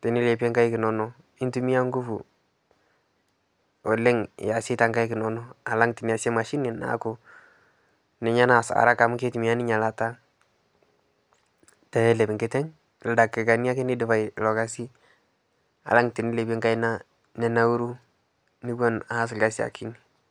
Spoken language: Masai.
tenilepie nkaik inono, nintumiya enkufu oleng iasie too nkaik inono alang tiniasie imashini naaku ninye naas araka amu keitumiya ninye ilata peelep nkiteng, ildakikani ake neidipai ilo ilkasi alang tinilepie nkaina ninauru niwen aas ilkasi akinyi.